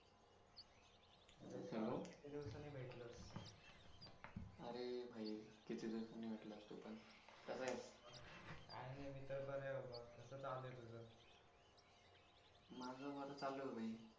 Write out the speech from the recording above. किती दिवसांनी भेटलास अरे भाई किती दिवसांनी भेटलास तू पण कसा आहेस काय नाही मी तर बरा आहे बाप्पा कसं चालू आहे तुझं माझं बरं चालू हे भाई